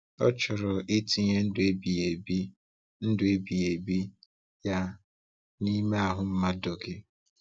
Ọ chọrọ itinye ndụ ebighi ebi ndụ ebighi ebi Ya n’ime ahụ mmadụ gị.